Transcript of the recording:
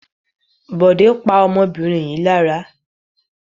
Bọ̀dé pa ọmọbìnrin yìí lára.